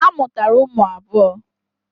Ha mụtara ụmụ abụọ.